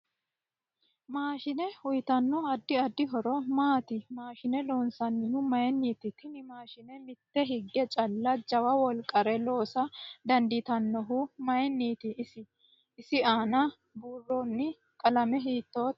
Maashine uyiitanno addi addi horo maati maashine loonsanihu mayiiniti tini maashine mite hige calla jawa wolqare loosa dandiitanohu mayiiniti ise aana buirooni qalame hiitoote